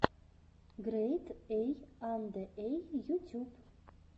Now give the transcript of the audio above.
грэйд эй анде эй ютюб